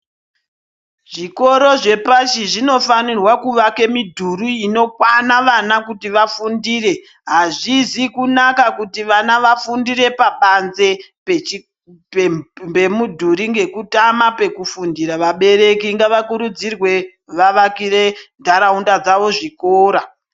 Zvikoro zvepashi zvinofanira kuvake midhuri inokwana vana kuti vafundire azvizi kunaka kuti vana vafundire pabanzi pemudhuri ngekutama pekufundira vabereki ngavakurudzirwe vavakire nharaunda dzavo zvikora.